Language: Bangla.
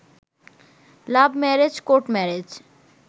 love marriage court marriage